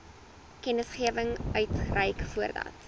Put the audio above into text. kennisgewing uitreik voordat